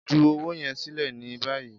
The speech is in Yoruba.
Ju owo yẹn silẹ ni bayi!